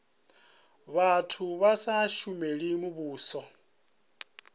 vhathu vha sa shumeli muvhuso